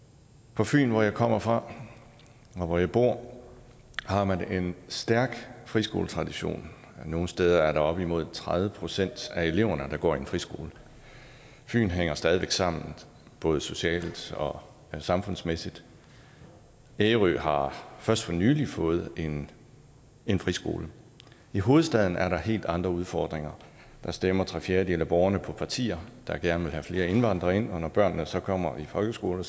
på fyn hvor jeg kommer fra og hvor jeg bor har man en stærk friskoletradition nogle steder er der op imod tredive procent af eleverne der går i en friskole fyn hænger stadig væk sammen både socialt og samfundsmæssigt ærø har først for nylig fået en en friskole i hovedstaden er der helt andre udfordringer der stemmer tre fjerdedele af borgerne på partier der gerne vil have flere indvandrere ind og når børnene så kommer i folkeskolen